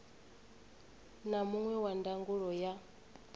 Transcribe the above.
na muṅwe wa ndangulo ya